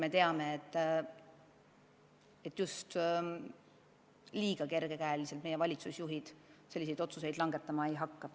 Me teame, et kerge käega valitsusjuhid selliseid otsuseid langetama ei hakka.